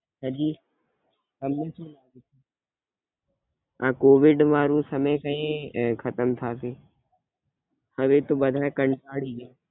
હાંજી. આ કોવીડ વાળું સમય કયી ખતમ થશે? હવે તો બધા કંટાળી ગ્યા.